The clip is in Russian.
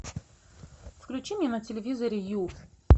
включи мне на телевизоре ю